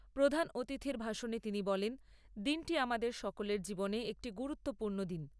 প্রধান অতিথির ভাষণে তিনি বলেন, দিনটি আমাদের সকলের জীবনে একটি গুরুত্বপূর্ণ দিন।